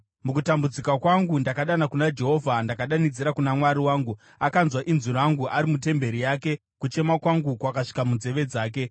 Mukutambudzika kwangu ndakadana kuna Jehovha; ndakadanidzira kuna Mwari wangu. Akanzwa inzwi rangu ari mutemberi yake; kuchema kwangu kwakasvika munzeve dzake.